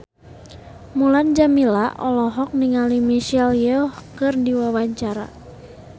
Mulan Jameela olohok ningali Michelle Yeoh keur diwawancara